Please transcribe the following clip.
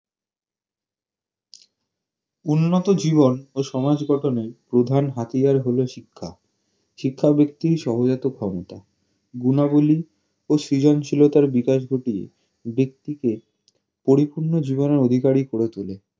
উন্নত জীবন ও সমাজ গঠনে প্রধান হাতিয়ার হলো শিক্ষা শিক্ষা ব্যক্তির ক্ষমতা গুনাবলী ও সৃজনশীলতার বিকাশ ঘটিয়ে ব্যক্তিকে পরিপূর্ণ জীবনের অধিকারী করে তুলে